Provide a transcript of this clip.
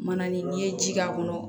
Mana ni ye ji k'a kɔnɔ